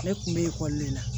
Ne kun bɛ ekɔli le la